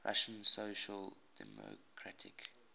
russian social democratic